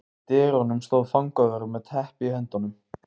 Í dyrunum stóð fangavörður með teppi í höndunum.